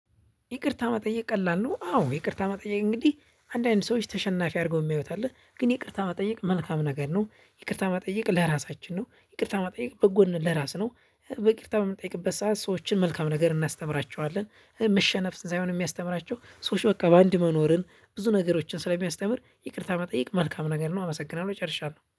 ይቅርታ መጠየቅ ቀላል ነው። አዎ ይቅርታ መጠየቅ እንግዲህ አንዳንድ ሰዎች ተሸናፊ አድርገው የሚያዩት አለ ግን ይቅርታ መጠየቅ መልካም ነገር ነው። ይቅርታ መጠየቅ ለራሳችን ነው። ይቅርታ ማጠየቅ በጎን ለራስ ነው። በቂርታ የምንጠይቅበት ሰዓት ሰዎችን መልካም ነገር እናስተምራቸዋለን። መሸነፍ ሳይሆን የሚያስተምራቸው ሰዎች በቃ በአንድ መኖርን ብዙ ነገሮችን ስለሚያስተምር ይቅርታ መጠየቅ መልካም ነገር ነው። አመሰግናለሁ ይጨርሻል